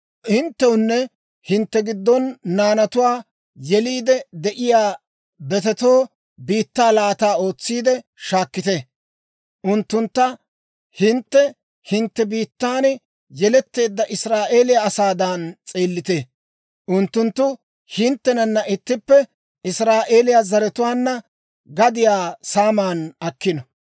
Hinttewunne hintte giddon naanatuwaa yeliide de'iyaa betetoo biittaa laata ootsiide shaakkite. Unttuntta hintte hintte biittan yeletteedda Israa'eeliyaa asaadan s'eellite. Unttunttu hinttenanna ittippe Israa'eeliyaa zaratuwaanna gadiyaa saaman akkino.